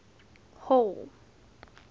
hall